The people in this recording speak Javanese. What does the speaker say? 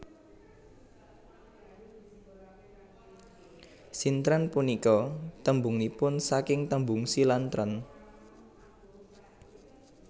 Sintren punika tembungipun saking tembung Si lan tren